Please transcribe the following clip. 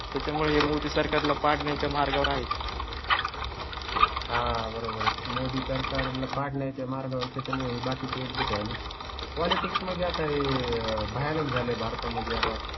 त्यामुळे मोदी सरकार ला पाडण्या च्या मार्गावर आहेत. हां बरोबर आहे. मोदी सरकार ला पाडण्या चा मार्ग आहे. त्यामुळे बाकी ची एकज़ूट वाले पॉलिटिक्स मध्ये आता हे भयानक झाले. भारता मध्ये आता